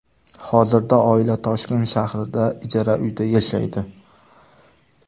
Hozirda oila Toshkent shahrida ijara uyda yashaydi.